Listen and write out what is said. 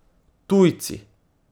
Tujci?